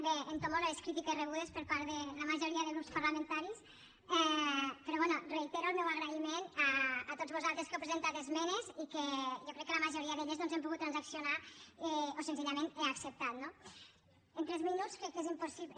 bé entomo les crítiques rebudes per part de la majoria de grups parlamentaris però bé reitero el meu agraïment a tots vosaltres que heu presentat esmenes i que jo crec que la majoria d’elles doncs hem pogut transaccionar o senzillament he acceptat no en tres minuts crec que és impossible